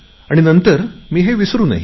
नंतर मी हे विसरुन गेले